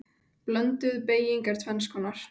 Blönduð beyging er tvenns konar